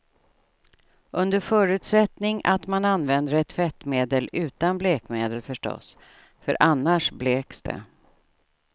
Under förutsättning att man använder ett tvättmedel utan blekmedel förstås, för annars bleks det.